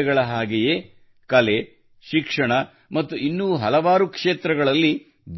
ಕ್ರೀಡೆಗಳ ಹಾಗೆಯೇ ಕಲೆ ಶಿಕ್ಷಣ ಮುತ್ತು ಇನ್ನೂ ಹಲವು ಕ್ಷೇತ್ರಗಳಲ್ಲಿ